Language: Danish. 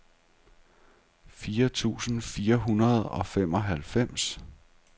fire tusind fire hundrede og femoghalvfems